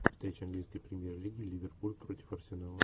встреча английской премьер лиги ливерпуль против арсенала